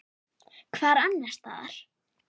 Hvar annars staðar!